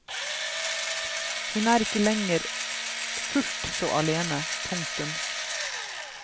Hun er ikke lenger fullt så alene. punktum